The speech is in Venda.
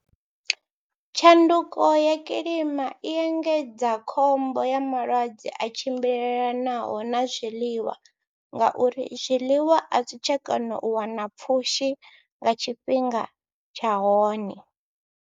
Tshanduko ya kilima i engedza khombo ya malwadze a tshimbilelanaho na zwiḽiwa ngauri zwiḽiwa a zwi tsha kona u wana pfhushi nga tshifhinga tsha hone.